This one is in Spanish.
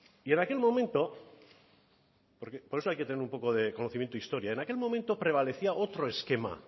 y en aquel momento por eso hay que tener un poco de conocimiento de historia en aquel momento prevalecía otro esquema